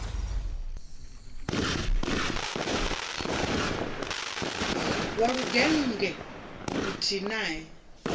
wa lugennge luthihi nae a